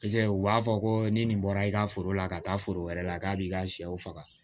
u b'a fɔ ko ni nin bɔra i ka foro la ka taa foro wɛrɛ la k'a b'i ka sɛw faga